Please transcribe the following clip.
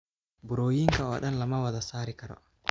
Burooyinka oo dhan lama wada saari karo.